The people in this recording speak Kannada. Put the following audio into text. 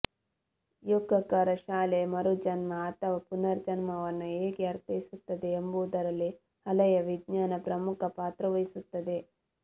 ಯೋಕಾಕಾರ ಶಾಲೆ ಮರುಜನ್ಮ ಅಥವಾ ಪುನರ್ಜನ್ಮವನ್ನು ಹೇಗೆ ಅರ್ಥೈಸುತ್ತದೆ ಎಂಬುದರಲ್ಲಿ ಅಲಯ ವಿಜ್ನಾನಾ ಪ್ರಮುಖ ಪಾತ್ರ ವಹಿಸುತ್ತದೆ